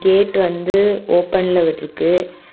Gate வந்து ஓபன்ல விட்ருக்கு.